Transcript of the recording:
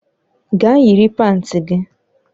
Gaa yiri panti gị!